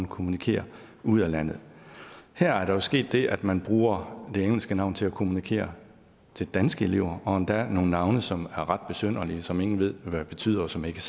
kommunikerer ud af landet her er der jo sket det at man bruger det engelske navn til at kommunikere til danske elever og endda nogle navne som er ret besynderlige som ingen ved hvad betyder og som ikke